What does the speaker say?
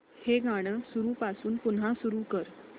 हे गाणं सुरूपासून पुन्हा सुरू कर